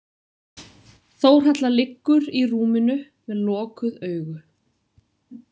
Þórhalla liggur í rúminu með lokuð augu.